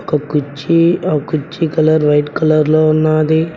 ఒ కుర్చీ ఆ కుర్చీ కలర్ వైట్ కలర్ లో ఉన్నాది.